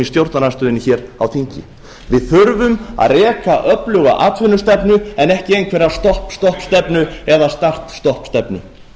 stjórnarandstöðunni hér á þingi við þurfum að reka öfluga atvinnustefnu en ekki einhverja stopp stopp stefnu